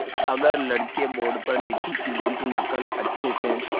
अगर लड़के बोर्ड पर लिखी चीज़ों की नकल अच्छे से